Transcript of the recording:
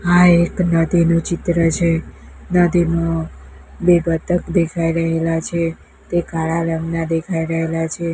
આ એક નદીનું ચિત્ર છે નદીમાં બે બતક દેખાય રહેલા છે તે કાળા રંગના દેખાય રહેલા છે.